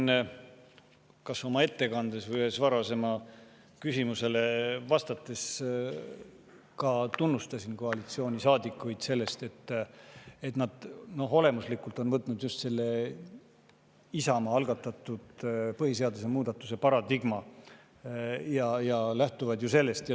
Ma kas oma ettekandes või ühele varasemale küsimusele vastates ka tunnustasin koalitsioonisaadikuid selle eest, et nad on olemuslikult võtnud just Isamaa algatatud põhiseaduse muudatuse paradigma ja lähtuvad sellest.